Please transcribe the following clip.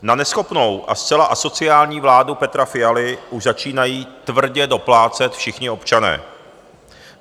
Na neschopnou a zcela asociální vládu Petra Fialy už začínají tvrdě doplácet všichni občané.